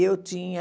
E eu tinha...